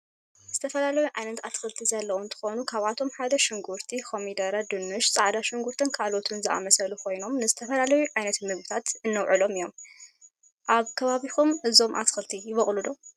ዝተፈላለዩ ዓይነት አትክልቲ ዘለዎ እነትኮኑ ካብአቶም ሓደ ሽጉርቲ፤ ኮሚደር፤ ድንሽ፤ ፃዕዳ ሽጉርትን ካልኦትን ዝአመስሉ ኮይኖም ንዝትፈላለዩ ዓይነት ምግብነት እንውዕሎም እዩም። አብ ከባቢኩም እዞም አትከልቲ ይቦቅሉ ዶ?